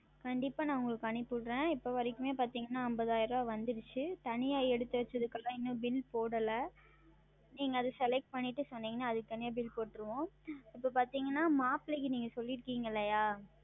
கண்டிப்பாக நான் உங்களுக்கு அனுப்பி விடுகிறேன் இப்போழுது வரைக்குமே பார்த்தீர்கள் என்றால் ஐம்பதாயிரம் வந்தது தனியாக எடுத்து வைத்ததுக்கு எல்லாம் இன்னும் Bill போடவில்லை நீங்கள் அது Select செய்திட்டு சொன்னீர்கள் என்றால் அதற்கு தனியாக Bill போட்டு விடுவோம் இப்பொழுது பார்த்தீர்கள் என்றால் மாப்பிளைக்கு நீங்கள் சொல்லி இருக்கிறீர்கள் அல்லவா